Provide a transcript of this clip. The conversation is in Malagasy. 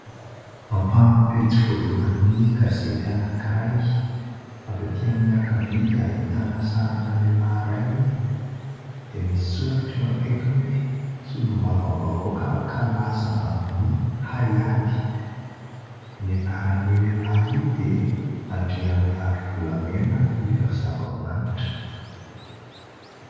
Ampahan'ny pejy voalohany gazety anankiray avy aty amin'ny ankavia dia ahitana sarina lehilahy iray dia misy soratra eo akaiky hoe : "solombavam-bahoaka kalaza amin'ny haiady, ny anaran'io lehilahy io dia Andriamiarivolamena Liva Zavamanitra".